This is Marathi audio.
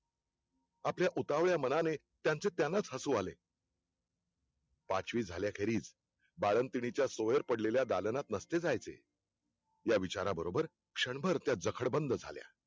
आपल्या उतावळ्या मनाने त्यांचे त्यांनाच हसुआले पांचवी झाल्या खेरीज, बाळन्तिणीचा सोयर पडलेल्या दालनात नसते जायचे, या विचारा बरोबर क्षणभर त्या जखडबंद झाल्या